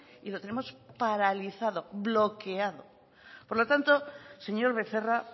y lo tenemos paralizado bloqueado por lo tanto señor becerra